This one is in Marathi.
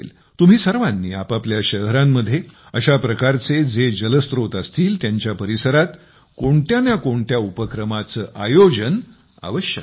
तुम्ही सर्वांनी आपापल्या शहरांमध्ये अशा प्रकारचे जे जलस्त्रोत असतील त्यांच्या परिसरात कोणत्या ना कोणत्या उपक्रमाचे आयोजन अवश्य करा